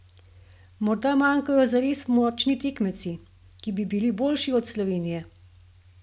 Morda manjkajo zares močni tekmeci, ki bi bili boljši od Slovenije?